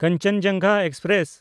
Kanchenjunga express